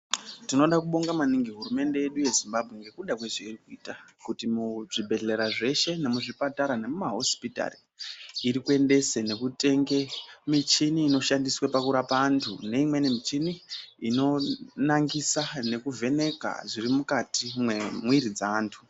Tinoda kubonga maningi hurumende yedu yeZimbabwe ngekuda kwezveiri kuita kuti muzvibherera zveshe nemuzvipatara nemumahosipitari. Irikuendese nekutenge michini inoshandiswe pakurapa antu. Neimweni michini inonangisa nekuvheneka zvirimukati mwemwiiri dzeantu.